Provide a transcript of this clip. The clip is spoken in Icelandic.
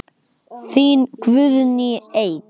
Þín Guðný Eik.